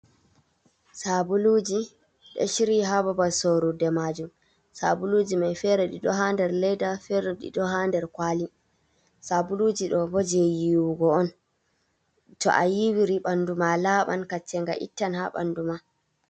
Sabuluuji ɗo ciryi haa babal sorude maajum, sabuluuji may fere ɗi ɗo haa nder leeda, fere ɗi ɗo haa nder kuwali. Sabuluuji ɗo bo jey yiwugo on, to a yiwiri, ɓanndu ma laɓan, kaccenga ittan haa ɓanndu ma.